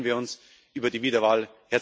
Deswegen freuen wir uns über die Wiederwahl.